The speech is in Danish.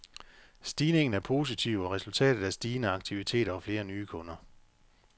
Stigningen er positiv og resultatet af stigende aktiviteter og flere nye kunder.